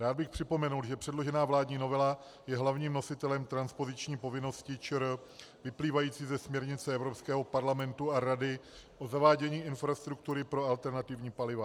Já bych připomněl, že předložená vládní novela je hlavním nositelem transpoziční povinnosti ČR vyplývající ze směrnice Evropského parlamentu a Rady o zavádění infrastruktury pro alternativní paliva.